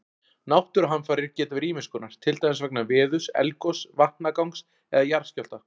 Náttúruhamfarir geta verið ýmis konar, til dæmis vegna veðurs, eldgoss, vatnagangs eða jarðskjálfta.